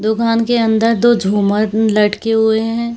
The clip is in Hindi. दुकान के अंदर दो झूमर मम लटके हुए हैं।